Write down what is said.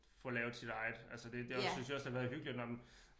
Får lavet sit eget altså det det også synes jeg også det har været hyggeligt når man